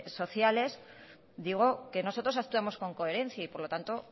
sociales digo que nosotros actuamos con coherencia y por lo tanto